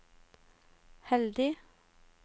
heldig